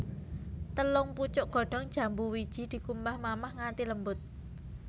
Telung pucuk godhong jambu wiji dikumbah mamah nganthi lembut